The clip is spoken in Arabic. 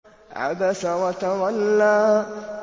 عَبَسَ وَتَوَلَّىٰ